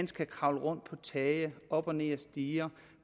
skal kravle rundt på tage og op og ned ad stiger